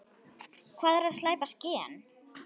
Hvað er splæst gen?